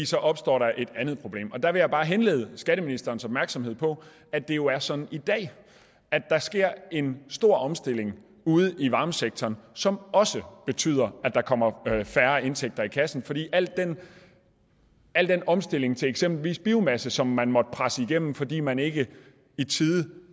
så opstår et andet problem og der vil jeg bare henlede skatteministerens opmærksomhed på at det jo er sådan i dag at der sker en stor omstilling ude i varmesektoren som også betyder at der kommer færre indtægter i kassen fordi al den omstilling til eksempelvis biomasse som man måtte presse igennem fordi man ikke i tide